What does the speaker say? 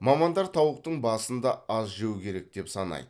мамандар тауықтың басын да аз жеу керек деп санайды